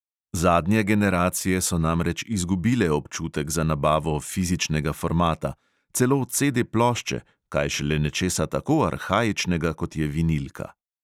Zadnje generacije so namreč izgubile občutek za nabavo fizičnega formata – celo CD plošče, kaj šele nečesa tako arhaičnega, kot je vinilka.